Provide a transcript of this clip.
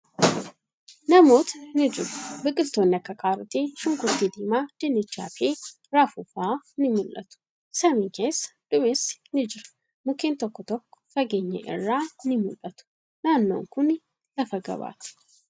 Namootni ni jiru. Biqiltootni akka Kaarotii, Shunkurtii diimaa, Dinnichaa fi Raafuu fa'a ni mul'atu. Samii keessa duumessi ni jira. Mukkeen tokko tokko fageenya irraa ni mul'atu. Naannon kuni lafa gabaati.